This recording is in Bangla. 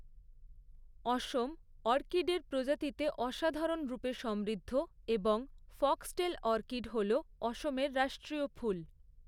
অসম অর্কিডের প্রজাতিতে অসাধারণরূপে সমৃদ্ধ এবং ফক্সটেল অর্কিড হল অসমের রাষ্ট্রীয় ফুল।